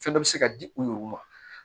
Fɛn dɔ bɛ se ka di u yɛrɛw ma